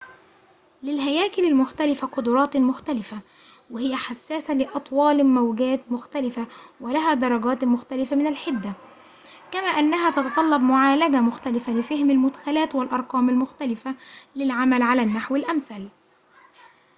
للهياكل المختلفة قدرات مختلفة وهي حساسة لأطوال موجات مختلفة ولها درجات مختلفة من الحدة كما أنها تتطلب معالجة مختلفة لفهم المدخلات والأرقام المختلفة للعمل على النحو الأمثل